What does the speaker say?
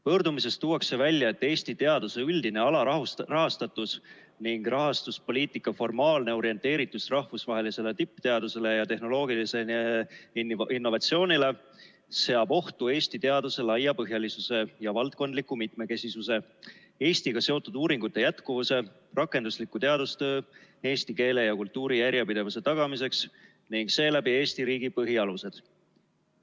Pöördumises tuuakse välja, et Eesti teaduse üldine alarahastatus ning rahastuspoliitika formaalne orienteeritus rahvusvahelisele tippteadusele ja tehnoloogilisele innovatsioonile seab ohtu Eesti teaduse laiapõhjalisuse ja valdkondliku mitmekesisuse, Eestiga seotud uuringute jätkuvuse, rakendusliku teadustöö eesti keele ja kultuuri järjepidevuse tagamiseks ning seeläbi Eesti riigi põhialused.